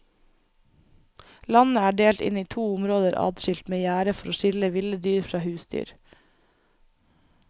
Landet er delt inn i to områder adskilt med gjerde for å skille ville dyr fra husdyr.